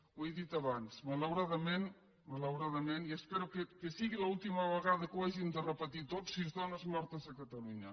ho he dit abans malauradament malauradament i espero que sigui l’última vegada que ho hàgim de repetir tots sis dones mortes a catalunya